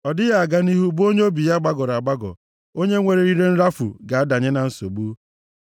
Ọ dịghị aga nʼihu bụ onye obi ya gbagọrọ agbagọ. Onye nwere ire nrafu ga-adanye na nsogbu.